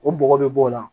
O bɔgɔ bɛ bɔ o la